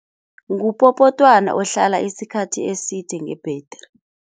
Ngupopotwana ohlala isikhathi eside nge-battery.